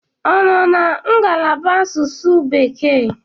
Ọ nọ na ngalaba asụsụ bekee?